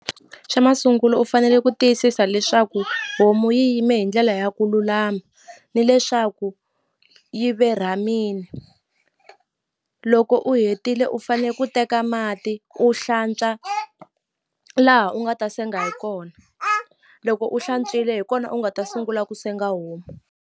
Xa masungulo u fanele ku tiyisisa leswaku homu yi yime hi ndlela ya ku lulama ni leswaku yi verhamini loko u hetile u fane ku teka mati u hlantswa laha u nga ta senga hi kona loko u hlantswile hi kona u nga ta sungula ku senga homu.